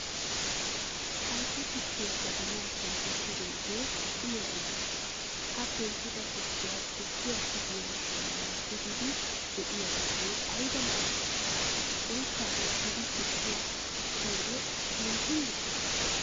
Haytta tukkiyaa jabaanan penttisidoge uya uya gees. Ha penttida tukkiya, tukkiyaa tigiyo siiniyan tigidi deiyoge ayba lo'i! Oyssa yegidi tukkiya essiyode keehin lo'ees.